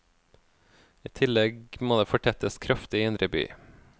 I tillegg må det fortettes kraftig i indre by.